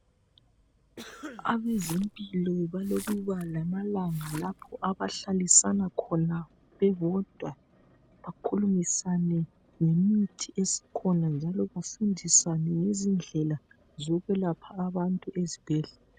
Abezempilo balokuba lamalanga lapho abahlalisana khona bebodwa bakhulumisane ngemithi esikhona njalo bafundisane ngezindlela zokwelapha abantu esibhedlela.